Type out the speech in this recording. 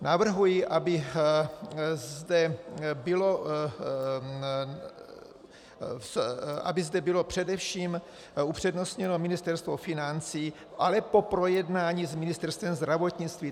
Navrhuji, aby zde bylo především upřednostněno Ministerstvo financí, ale po projednání s Ministerstvem zdravotnictví.